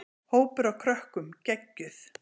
Hópur af krökkum: Geggjuð.